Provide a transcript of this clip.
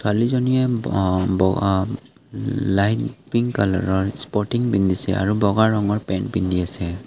ছোৱালীজনীয়ে ব অ লাইট পিং কালাৰৰ স্পৰ্টিং পিন্ধিচে আৰু বগা ৰঙৰ পেন্ট পিন্ধি আছে।